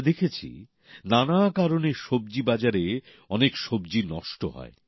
আমরা দেখেছি নানা কারণে সব্জি বাজারে অনেক সব্জি নষ্ট হয়